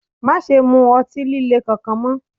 Má ṣe mu ọtí líle kankan mọ́!